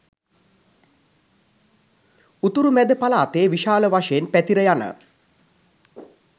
උතුරු මැද පළාතේ විශාල වශයෙන් පැතිර යන